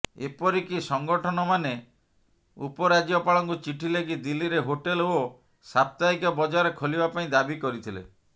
ଏପରିକି ସଂଗଠନମାନେ ଉପରାଜ୍ୟପାଳଙ୍କୁ ଚିଠି ଲେଖି ଦିଲ୍ଲୀରେ ହୋଟେଲ ଓ ସାପ୍ତାହିକ ବଜାର ଖୋଲିବା ପାଇଁ ଦାବି କରିଥିଲେ